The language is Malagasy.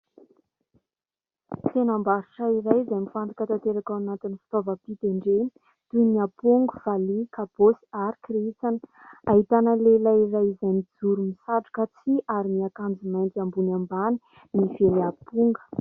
Tsenam_barotra iray izay mifantoka tanteraka ao anatin'ny fitaovam_pitendrena toy ny aponga, valihy, kabosy ary kirintsana. Ahitana lehilahy iray izay mijoro misatroka tsihy ary miakanjo mainty ambony ambany mively aponga.